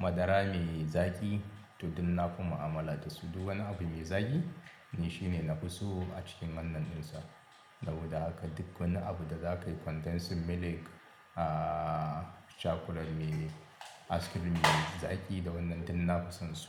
madara mai zaƙi to duk nafi mu'amala dasu. Duk wani abu me zaƙi ne shine nafi so a cikin wannan ɗinsa. Saboda haka duk wani abu da zakayi condensing milk, ahhh chocolate me ice cream me zaƙi da wannan dun na fasin su.